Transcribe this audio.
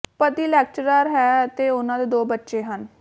ਪਤੀ ਲੈਕਚਰਾਰ ਹੈ ਅਤੇ ਉਨ੍ਹਾਂ ਦੇ ਦੋ ਬੱਚੇ ਹਨ